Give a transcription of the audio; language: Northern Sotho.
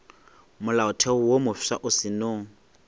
molaotheo wo mofsa o seno